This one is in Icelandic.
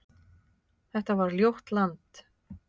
Þetta var ljótt land.